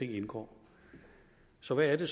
indgår så hvad er